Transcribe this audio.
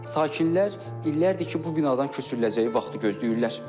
Sakinlər illərdir ki, bu binadan köçürüləcəyi vaxtı gözləyirlər.